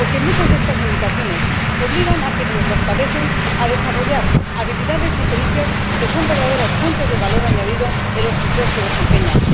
Porque muchas de estas limitaciones obligan a quienes las padecen a desarrollar habilidades y pericias que son verdaderas fuentes de valor añadido en los empleos que desempeñan.